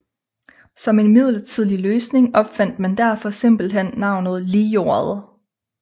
Som en midlertidig løsning opfandt man derfor simpelthen navnet Lijordet